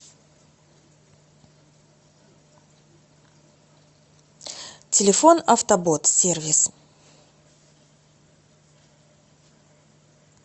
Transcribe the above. телефон автобот сервис